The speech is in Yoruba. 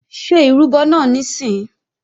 Ṣé ìrúbọ náà níìsín!